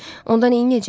Onda neyləyəcək?